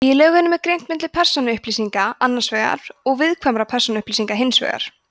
í lögunum er greint milli persónuupplýsinga annars vegar og viðkvæmra persónuupplýsinga hins vegar